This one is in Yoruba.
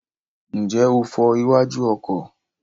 Ǹjẹ́ o fọ iwájú ọkọ̀?